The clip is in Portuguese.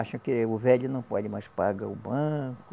Acham que o velho não pode mais pagar o banco.